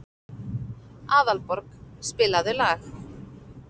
Aðalborg, spilaðu lag.